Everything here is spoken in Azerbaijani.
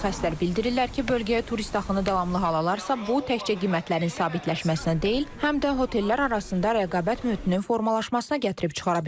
Mütəxəssislər bildirirlər ki, bölgəyə turist axını davamlı hal alarsa, bu təkcə qiymətlərin sabitləşməsinə deyil, həm də otellər arasında rəqabət mühitinin formalaşmasına gətirib çıxara bilər.